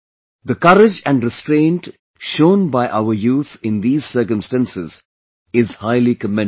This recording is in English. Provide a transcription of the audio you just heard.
The courage and restraint shown by our youth in these circumstances is highly commendable